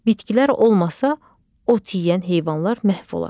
Bitkilər olmasa, ot yeyən heyvanlar məhv olar.